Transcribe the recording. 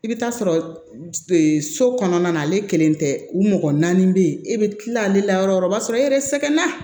I bɛ taa sɔrɔ so kɔnɔna na ale kelen tɛ u mɔgɔ naani bɛ yen e bɛ tila ale la yɔrɔ wɛrɛ o b'a sɔrɔ e yɛrɛ sɛgɛn na